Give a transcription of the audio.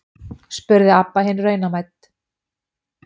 spurði Abba hin raunamædd.